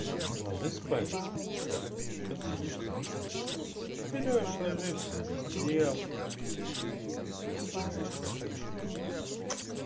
ложись спать софа что ты сидишь тут берёшь ложишься под одеялко и засыпаешь храпишь